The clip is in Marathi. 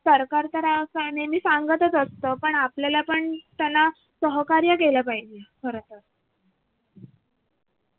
सरकार तर काय नेहमी सांगतच असत पण आपल्याला पण त्यांना सहकार्य केलं पाहिजे खरं तर